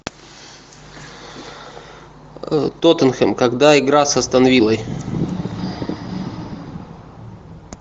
тоттенхэм когда игра с астон виллой